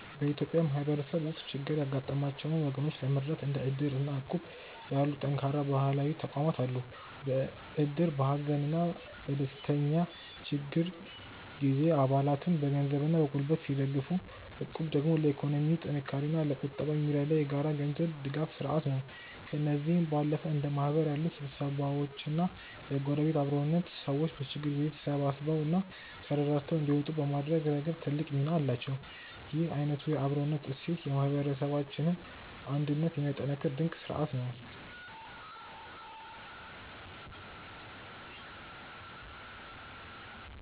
በኢትዮጵያ ማህበረሰብ ውስጥ ችግር ያጋጠማቸውን ወገኖች ለመርዳት እንደ እድር እና እቁብ ያሉ ጠንካራ ባህላዊ ተቋማት አሉ። እድር በሀዘንና በድንገተኛ ችግር ጊዜ አባላትን በገንዘብና በጉልበት ሲደግፍ፣ እቁብ ደግሞ ለኢኮኖሚ ጥንካሬና ለቁጠባ የሚረዳ የጋራ የገንዘብ ድጋፍ ስርአት ነው። ከእነዚህም ባለፈ እንደ ማህበር ያሉ ስብስቦችና የጎረቤት አብሮነት፣ ሰዎች በችግር ጊዜ ተሳስበውና ተረዳድተው እንዲወጡ በማድረግ ረገድ ትልቅ ሚና አላቸው። ይህ አይነቱ የአብሮነት እሴት የማህበረሰባችንን አንድነት የሚያጠናክር ድንቅ ስርአት ነው።